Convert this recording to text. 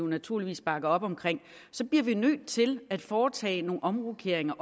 naturligvis bakker op om bliver vi nødt til at foretage nogle omrokeringer